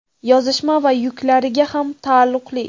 yozishma va yuklariga ham taalluqli.